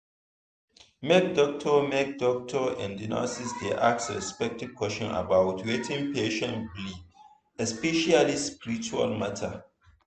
make doctor make doctor and nurse dey ask respectful question about wetin patient believe especially spiritual matter.